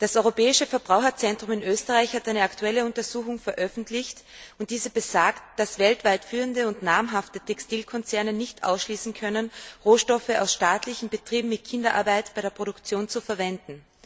Das Europäische Verbraucherzentrum in Österreich hat eine aktuelle Untersuchung veröffentlicht, und diese besagt, dass weltweit führende und namhafte Textilkonzerne nicht ausschließen können, Rohstoffe aus staatlichen Betrieben mit Kinderarbeit bei der Produktion zu verwenden.